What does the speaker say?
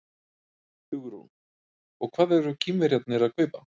Hugrún: Og hvað eru Kínverjarnir að kaupa?